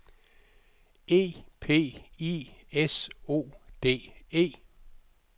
E P I S O D E